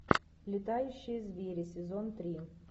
летающие звери сезон три